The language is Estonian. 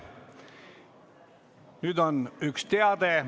Nüüd on üks teade.